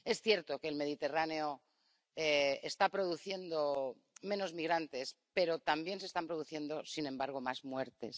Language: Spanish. Es cierto que el Mediterráneo está produciendo menos migrantes, pero también se están produciendo, sin embargo, más muertes.